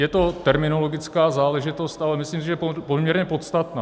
Je to terminologická záležitost, ale myslím si, že poměrně podstatná.